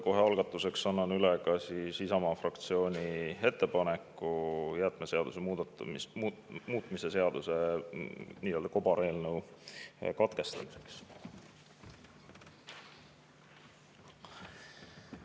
Kohe algatuseks annan üle Isamaa fraktsiooni ettepaneku jäätmeseaduse muutmise seaduse nii-öelda kobareelnõu katkestada.